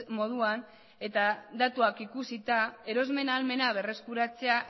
moduan eta datuak ikusita erosmen ahalmena berreskuratzea